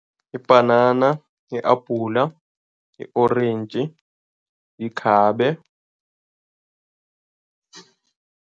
Ibhanana, i-apula i-orentji, ikhabe.